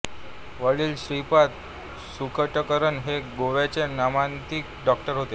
वडील श्रीपाद सुखटणकर हे गोव्याचे नामांकित डॉक्टर होते